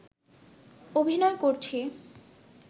অভিনয় করছি